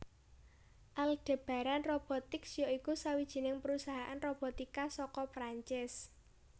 Aldebaran Robotics ya iku sawijining perusahaan robotika saka Prancis